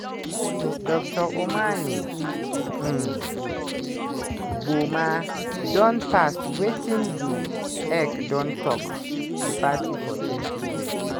dr omane um boamah don past wetin di ec don tok di party for 2020.